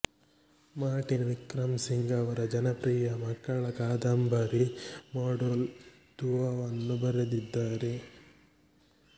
Martin Wickramasinghe ಅವರು ಜನಪ್ರಿಯ ಮಕ್ಕಳ ಕಾದಂಬರಿ ಮಡೋಲ್ ದುವಾವನ್ನು ಬರೆದಿದ್ದಾರೆ